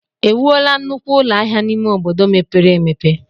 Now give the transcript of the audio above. Ewuola nnukwu ụlọ ahịa n'ime obodo mepere emepe?